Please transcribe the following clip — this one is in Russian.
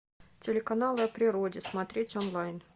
телеканал о природе смотреть онлайн